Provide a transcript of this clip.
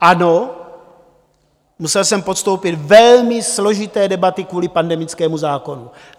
Ano, musel jsem podstoupit velmi složité debaty kvůli pandemickému zákonu.